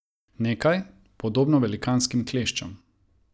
Nekaj, podobno velikanskim kleščam.